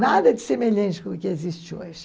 Nada de semelhante como o que existe hoje.